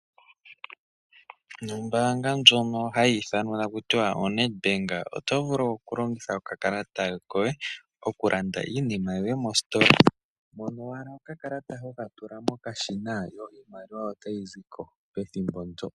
Nombanga ndyono hayi ithanwa taku tiwa oNetbank oto vulu okulongitha okakalata koye okulanda iinima yoye mositola mono owala okakalata hokatula mokashina yo iimaliwa otayi ziko pethimbo ndyo.